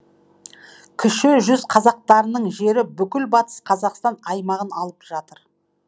кіші жүз қазақтарының жері бүкіл батыс қазақстан аймағын алып жатыр